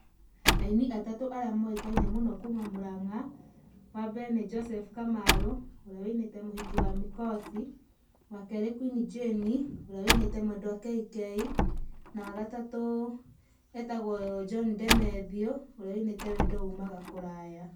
Aini atatũ arĩa moĩkaine mũno kuma Mũrang'a, wa mbere nĩ Joseph Kamaru, ũrĩa wĩinĩte mũhiki wa mĩkosi, wa keerĩ Queen Jane, ũrĩa wĩ inĩte mwendwa kk, na wa gatatũ etagwo John DeMathew ũrĩa wĩinĩte wendo umaga kũraya.